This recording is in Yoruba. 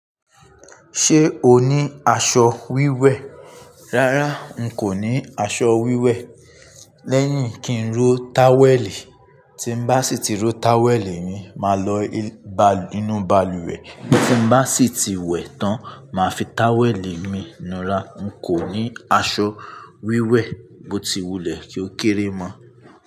Ṣé o ní aṣọ wíwẹ̀? Rárá, n kò ní aṣọ wíwẹ̀. Lẹ́yìn kí n ro táwẹ̀lì. Tí n bá sì ti ro táwẹ̀lì mi, máa lọ inú balùwẹ̀. Tí n bá sì ti wẹ̀ tán, màá fi táwẹ̀lì mi nura. N kò ní aṣọ wíwẹ̀, mo ti wulẹ̀ kí ó kéré mọ́